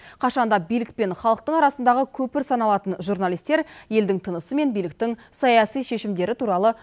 қашан да билік пен халықтың арасындағы көпір саналатын журналистер елдің тынысы мен биліктің саяси шешімдері туралы